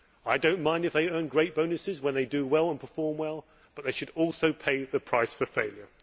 I do not mind if they earn great bonuses when they do well and perform well, but they should also pay the price for failure.